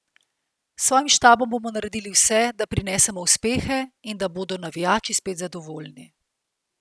S svojim štabom bomo naredili vse, da prinesemo uspehe in da bodo navijači spet zadovoljni.